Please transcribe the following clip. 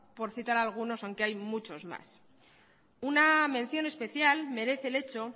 por citar algunos aunque hay muchos más una mención especial merece el hecho